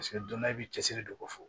Paseke don dɔ i bi cɛsiri de ko ko fɔ